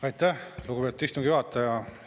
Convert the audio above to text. Aitäh, lugupeetud istungi juhataja!